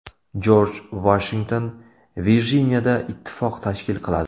Jorj Vashington Virjiniyada ittifoq tashkil qiladi.